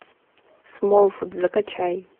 смолфут закачай